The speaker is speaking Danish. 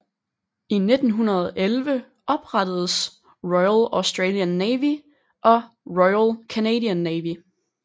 I 1911 oprettedes Royal Australian Navy og Royal Canadian Navy